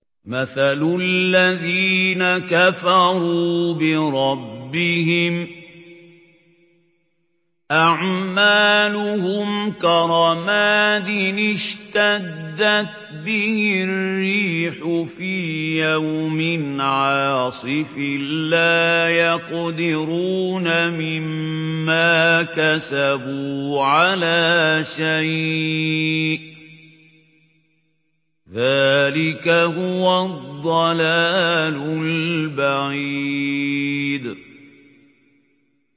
مَّثَلُ الَّذِينَ كَفَرُوا بِرَبِّهِمْ ۖ أَعْمَالُهُمْ كَرَمَادٍ اشْتَدَّتْ بِهِ الرِّيحُ فِي يَوْمٍ عَاصِفٍ ۖ لَّا يَقْدِرُونَ مِمَّا كَسَبُوا عَلَىٰ شَيْءٍ ۚ ذَٰلِكَ هُوَ الضَّلَالُ الْبَعِيدُ